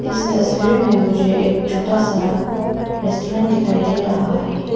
इस तस्वीर में मुझे एक छोटा सा रेस्टोरेंट दिखाई दे रहा है।